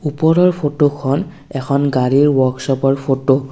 ওপৰৰ ফটো খন এখন গাড়ীৰ ৱ'ৰ্ক শ্ব'প ৰ ফটো ।